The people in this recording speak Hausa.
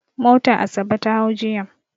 Mota Asabe ta hau jiya.